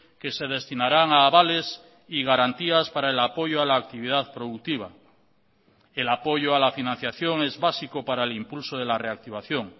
que se destinarán a avales y garantías para el apoyo a la actividad productiva el apoyo a la financiación es básico para el impulso de la reactivación